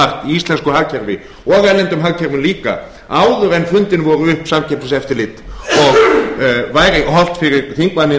í íslensku hagkerfi og í erlendum hagkerfum líka áður en fundin voru upp samkeppniseftirlit og væri hollt fyrir þingmanninn af